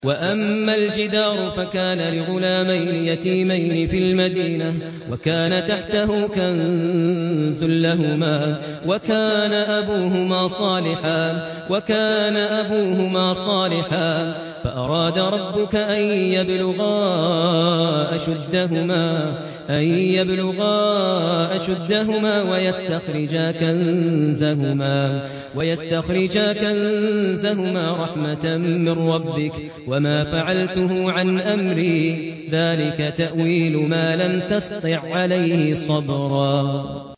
وَأَمَّا الْجِدَارُ فَكَانَ لِغُلَامَيْنِ يَتِيمَيْنِ فِي الْمَدِينَةِ وَكَانَ تَحْتَهُ كَنزٌ لَّهُمَا وَكَانَ أَبُوهُمَا صَالِحًا فَأَرَادَ رَبُّكَ أَن يَبْلُغَا أَشُدَّهُمَا وَيَسْتَخْرِجَا كَنزَهُمَا رَحْمَةً مِّن رَّبِّكَ ۚ وَمَا فَعَلْتُهُ عَنْ أَمْرِي ۚ ذَٰلِكَ تَأْوِيلُ مَا لَمْ تَسْطِع عَّلَيْهِ صَبْرًا